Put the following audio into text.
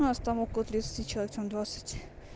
у нас там около тридцати человек там двадцать